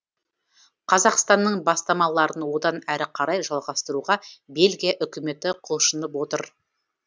қазақстанның бастамаларын одан әрі қарай жалғастыруға бельгия үкіметі құлшынып отыр